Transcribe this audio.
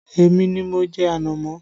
Èmi ni mo jẹ ànámọ́